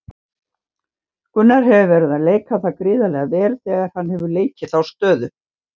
Gunnar hefur verið að leika það gríðarlega vel þegar hann hefur leikið þá stöðu.